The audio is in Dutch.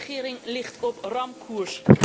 De regering ligt op ramkoers.